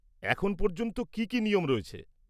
এখন পর্যন্ত কি কি নিয়ম রয়েছে?